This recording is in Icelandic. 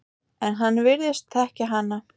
En hann virðist þekkja hana.